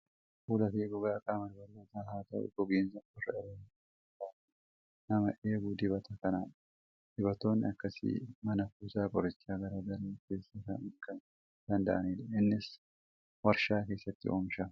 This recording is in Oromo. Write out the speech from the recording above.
Fuulaa fi gogaa qaama dubartootaas haa ta'u gogiinsa qorra irraan dhufu irraa kan nama eegu dibata kanadha. Dibatoonni akkasii mana kuusaa qorichaa garaa garaa keessaa kan argamuu danda'anidha. Innis waarshaa keessatti oomishama.